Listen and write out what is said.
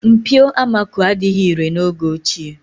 Mpio amako adịghị irè n'oge ochie.